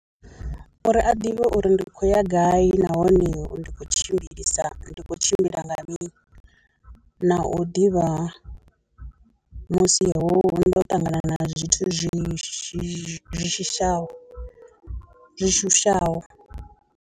Uri a ḓivhe uri ndi khou ya gai nahone ndi khou tshimbilisa ndi khou tshimbila nga mini, na u ḓivha musi ho ndo ṱangana na zwithu zwi shishi zwi shishaho zwi shushaho.